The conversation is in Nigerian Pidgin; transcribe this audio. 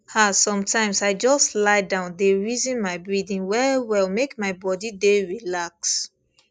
ah sometimes i just lie down dey reason my breathing wellwell make my body dey relax